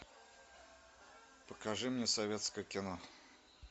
покажи мне советское кино